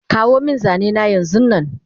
Kawomin zanena yanzunnan